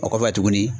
O kɔfɛ tuguni